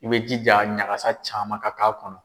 I bɛ jija ɲagas caman ka k'a kɔnɔ.